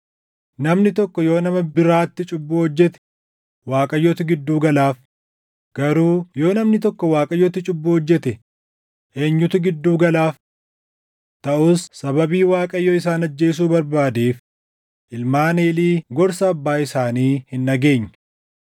Namni tokko yoo nama biraatti cubbuu hojjete Waaqayyotu gidduu galaaf; garuu yoo namni tokko Waaqayyotti cubbuu hojjete eenyutu gidduu galaaf?” Taʼus sababii Waaqayyo isaan ajjeesuu barbaadeef ilmaan Eelii gorsa abbaa isaanii hin dhageenye.